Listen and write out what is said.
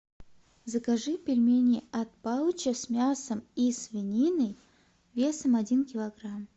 закажи пельмени от палыча с мясом и свининой весом один килограмм